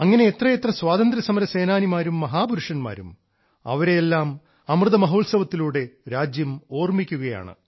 അങ്ങനെ എത്രയെത്ര സ്വാതന്ത്ര്യസമരസേനാനിമാരും മഹാപുരുഷന്മാരും അവരെയെല്ലാം അമൃതമഹോത്സവത്തിലൂടെ രാജ്യം ഓർമിക്കുകയാണ്